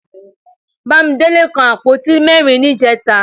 Bámidélé kan àpótí mẹ́rin níjẹta